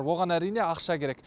оған әрине ақша керек